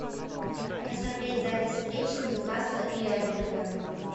посмотреть запись встречи ньюкасла и эвертона